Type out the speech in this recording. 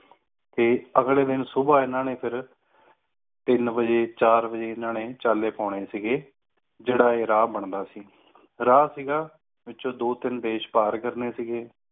ਤੇ ਅਗਲੇ ਦਿਨ ਸੁਬਹ ਇਨ੍ਹਾਂ ਨੇ ਫਿਰ ਤਿੰਨ ਬਜੇ ਚਾਰ ਬਜੇ ਇਨ੍ਹਾਂ ਨੇ ਚਾਲੇ ਪੋਣੇ ਸੀਗੇ ਜੇੜਾ ਇਹ ਰਾਹ ਬਣਦਾ ਸੀ ਰਾਹ ਸੀਗਾ ਵਿੱਚੋ ਦੋ ਤਿੰਨ ਦੇਸ਼ ਪਾਰ ਕਰਨੇ ਸੀਗੇ